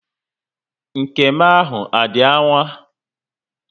Nke m ahụ adị aṅaa?